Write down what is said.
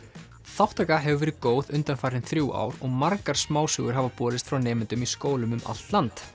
þátttaka hefur verið góð undanfarin þrjú ár og margar smásögur hafa borist frá nemendum í skólum um allt land